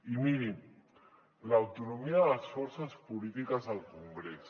i miri l’autonomia de les forces polítiques al congrés